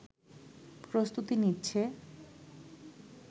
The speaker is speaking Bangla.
প্রস্তুতি নিচ্ছে